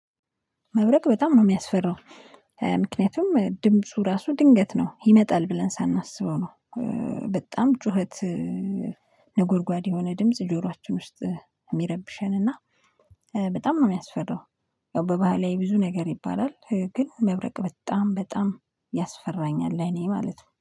መብረቅ በጣም ነው የሚያስፈራው ምክንያቱም ድምፁ ራሱ ድንገት ነው ይመጣል ብለን ሳናስበው ነው። በጣም ጩኸት ነጎድጓድ የሆነ ድምጽ ጆሯችን ውስጥ የሚረብሸን እና በጣም ነው የሚያስፈራው። ያው በባህል ላይ ብዙ ነገር ይባላል ግን መብረቅ በጣም በጣም ያስፈራኛል ለእኔ ማለት ነው